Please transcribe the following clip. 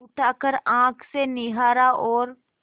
उठाकर आँख से निहारा और